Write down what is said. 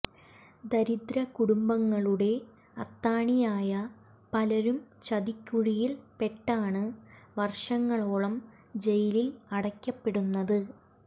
ദരിദ്ര കുടുംബങ്ങളുടെ അത്താണിയായ പലരും ചതിക്കുഴിയിൽ പെട്ടാണ് വർഷങ്ങളോളം ജയിലിൽ അടയ്ക്കപ്പെടുന്നത്